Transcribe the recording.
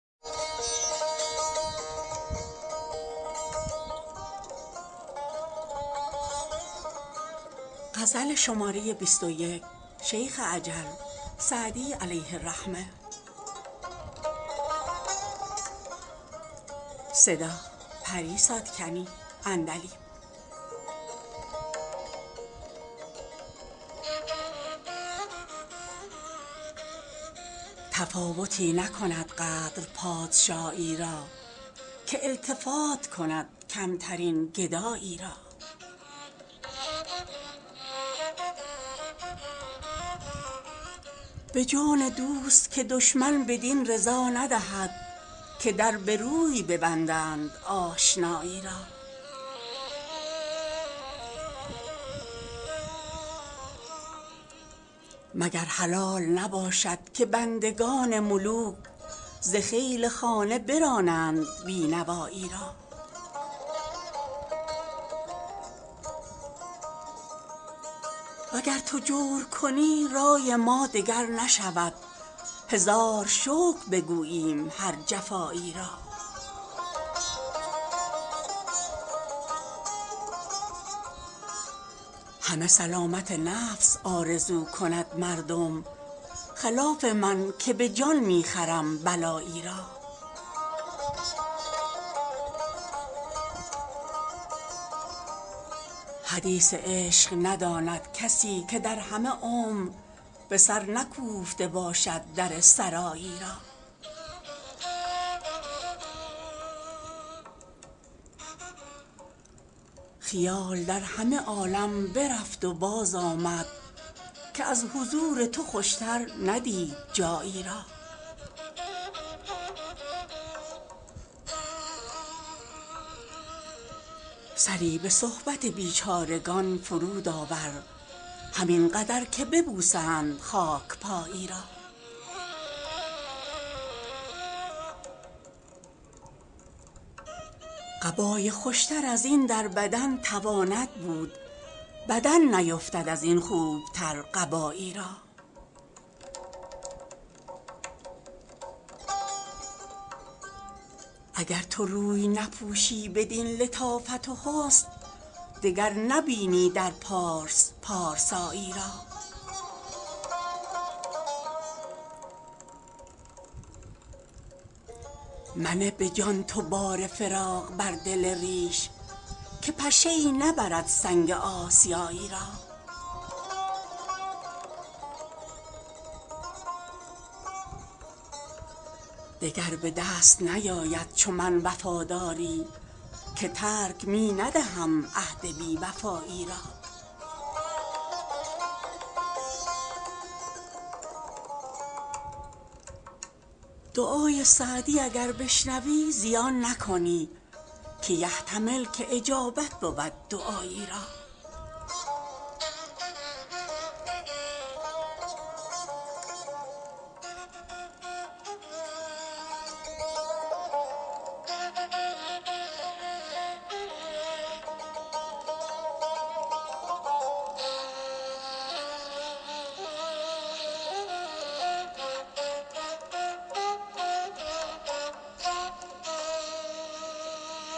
تفاوتی نکند قدر پادشایی را که التفات کند کمترین گدایی را به جان دوست که دشمن بدین رضا ندهد که در به روی ببندند آشنایی را مگر حلال نباشد که بندگان ملوک ز خیل خانه برانند بی نوایی را و گر تو جور کنی رای ما دگر نشود هزار شکر بگوییم هر جفایی را همه سلامت نفس آرزو کند مردم خلاف من که به جان می خرم بلایی را حدیث عشق نداند کسی که در همه عمر به سر نکوفته باشد در سرایی را خیال در همه عالم برفت و بازآمد که از حضور تو خوشتر ندید جایی را سری به صحبت بیچارگان فرود آور همین قدر که ببوسند خاک پایی را قبای خوشتر از این در بدن تواند بود بدن نیفتد از این خوبتر قبایی را اگر تو روی نپوشی بدین لطافت و حسن دگر نبینی در پارس پارسایی را منه به جان تو بار فراق بر دل ریش که پشه ای نبرد سنگ آسیایی را دگر به دست نیاید چو من وفاداری که ترک می ندهم عهد بی وفایی را دعای سعدی اگر بشنوی زیان نکنی که یحتمل که اجابت بود دعایی را